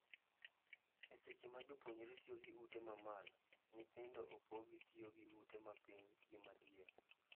E seche ma jopuonjre tiyo gi ute ma malo. Nyithindo opogi tiyo gi ute ma piny gi madiere.